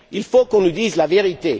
Il faut qu'on nous dise la vérité.